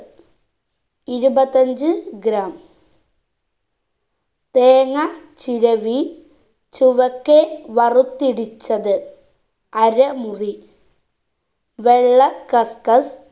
ഇരുപത്തഞ്ച്‌ gram തേങ്ങ ചിരവി ചുവക്കെ വറുത്തിടിച്ചത് അര മുറി വെള്ള cuscus